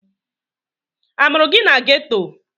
A mụrụ gị na geto?